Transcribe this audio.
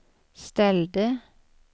ställde